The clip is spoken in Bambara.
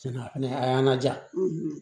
Tiɲɛna a y'an laja